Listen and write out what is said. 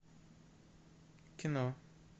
кино